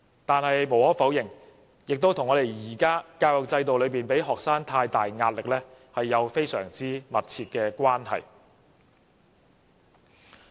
但是，無可否認，這也和現時的教育制度給予學生太大壓力有莫大關係。